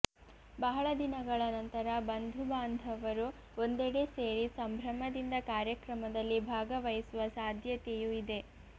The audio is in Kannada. ಬಹಳ ದಿನಗಳ ನಂತರ ಬಂಧುಬಾಂಧವರು ಒಂದೆಡೆ ಸೇರಿ ಸಂಭ್ರಮದಿಂದ ಕಾರ್ಯಕ್ರಮದಲ್ಲಿ ಭಾಗವಹಿಸುವ ಸಾಧ್ಯತೆಯೂ ಇದೆ